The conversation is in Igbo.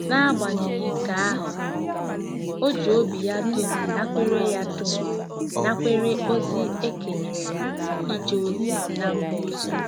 N'agbanyeghị nke ahụ, o ji obi ya dum nakwere ya dum nakwere ozi e kenyere ya ije ozi ná mba ọzọ.